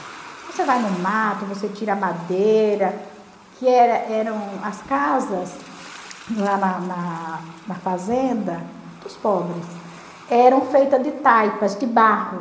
você vai no mato, você tira a madeira, que era eram as casas lá na na na fazenda dos pobres, eram feitas de taipas, de barro.